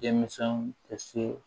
Denmisɛnw ka se